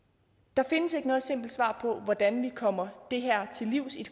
der findes ikke noget simpelt svar på hvordan vi kommer det her til livs i